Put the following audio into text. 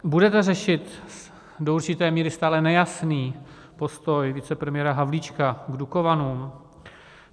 Budete řešit do určité míry stále nejasný postoj vicepremiéra Havlíčka k Dukovanům?